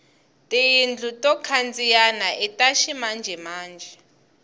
tiyindlu to khandziyana ita ximanjemanje